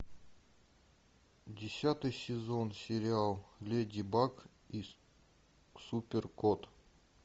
десятый сезон сериал леди баг и супер кот